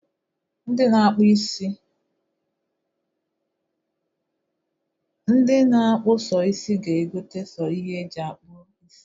Ndi na-akpụ so isị ga-egota so ihe e ji akpụ isi.